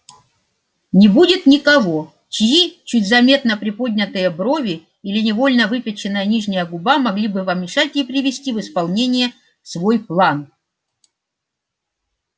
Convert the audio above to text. не будет никого чьи чуть заметно приподнятые брови или невольно выпяченная нижняя губа могли бы помешать ей привести в исполнение свой план